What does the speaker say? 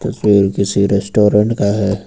तस्वीर किसी रेस्टोरेंट का है।